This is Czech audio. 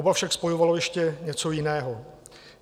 Oba však spojovalo ještě něco jiného.